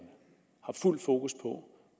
har fuld fokus på